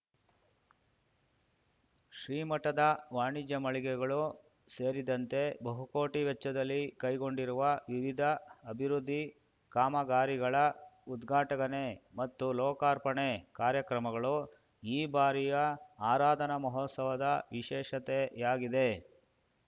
ಶ್ರೀಮಠದ ವಾಣಿಜ್ಯ ಮಳಿಗೆಗಳು ಸೇರಿದಂತೆ ಬಹುಕೋಟಿ ವೆಚ್ಚದಲ್ಲಿ ಕೈಗೊಂಡಿರುವ ವಿವಿಧ ಅಭಿವೃದ್ಧಿ ಕಾಮಗಾರಿಗಳ ಉದ್ಘಾಟನೆ ಮತ್ತು ಲೋಕಾರ್ಪಣೆ ಕಾರ್ಯಕ್ರಮಗಳು ಈ ಬಾರಿಯ ಆರಾಧನಾ ಮಹೋತ್ಸವದ ವಿಶೇಷತೆಯಾಗಿದೆ